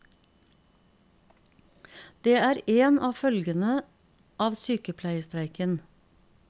Det er en av følgene av sykepleierstreiken.